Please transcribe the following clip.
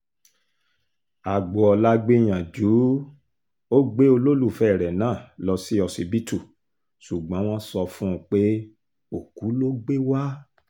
agboola gbìyànjú ó gbé olólùfẹ́ rẹ̀ náà lọ sí ọsibítù ṣùgbọ́n wọ́n sọ fún un pé òkú ló gbé wa